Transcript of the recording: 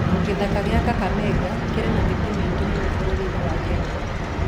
Gĩthaka kĩa Kakamega kĩrĩ na mĩtĩ mĩingĩ mũno bũrũri-inĩ wa Kenya.